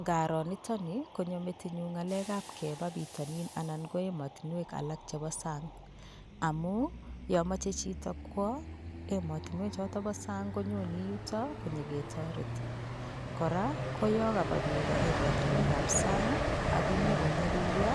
Nkaro nitoni konyo metinyu ng'alekap kepa bitonin anan ko emotunwek alak chepo sang amu yomache chito kwo emotinwechoto bo sang konyone yuto konyiketoret kora koyokaba biik emotunwekap sang akonyikonyolilyo